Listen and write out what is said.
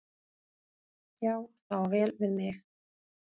Já, það á vel við mig.